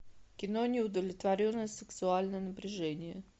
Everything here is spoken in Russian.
кино неудовлетворенное сексуальное напряжение